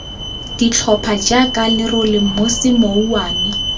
ditlhopha jaaka lerole mosi mouwane